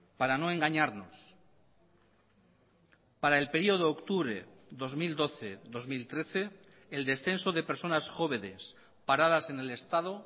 para no engañarnos para el período octubre dos mil doce dos mil trece el descenso de personas jóvenes paradas en el estado